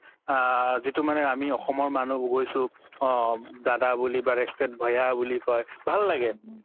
আ যিতু মানে আমি অসমৰ মানুহ গৈছো অ দাদা বুলি বা bhaiya বুলি কই ভাল লাগে